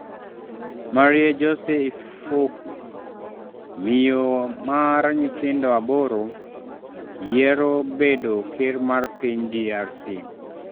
Marie-Josee Ifoku: Miyo mar nyithindo aboro yiero bedo ker mar piny DRC